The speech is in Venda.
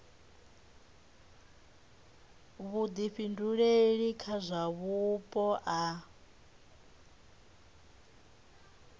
vhuḓifhinduleli kha zwa vhupo a